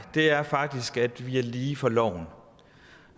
er faktisk at vi er lige for loven